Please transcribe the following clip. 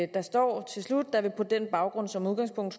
der står til slut at der på den baggrund som udgangspunkt